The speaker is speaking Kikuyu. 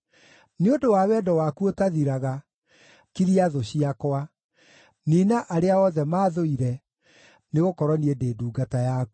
Nĩ ũndũ wa wendo waku ũtathiraga, kiria thũ ciakwa; niina arĩa othe maathũire, nĩgũkorwo niĩ ndĩ ndungata yaku.